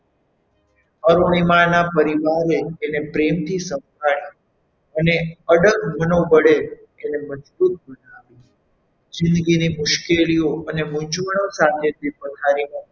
અરુણિમા ના પરિવારે એને પ્રેમથી સંભાળી અને અડગ મનોબળે એને મજબૂત બનાવી જિંદગીની મુશ્કેલીઓ અને મૂંઝવણ સાથે તે પથારીમાંથી,